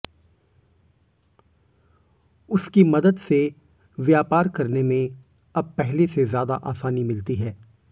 उसकी मदद से व्यापार करने में अब पहले से ज्यादा आसानी मिलती है